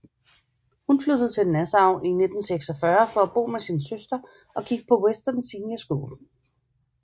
Hun flyttede til Nassau i 1946 for at bo med sin søster og gik på Western Senior School